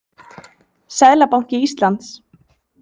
Seðlabanki Íslands.